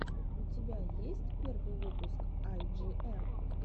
у тебя есть первый выпуск ай джи эм